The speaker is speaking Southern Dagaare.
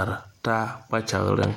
are taa kpakyagreŋ.